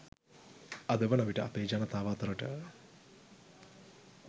අද වනවිට අපේ ජනතාව අතරට